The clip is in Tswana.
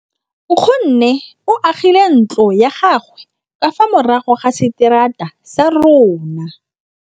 Nkgonne o agile ntlo ya gagwe ka fa morago ga seterata sa rona.